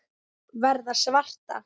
Verða svarta.